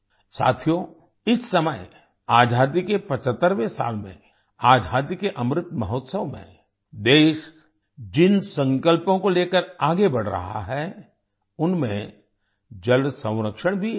साथियो इस समय आजादी के 75वें साल में आजादी के अमृत महोत्सव में देश जिन संकल्पों को लेकर आगे बढ़ रहा है उनमें जल संरक्षण भी एक है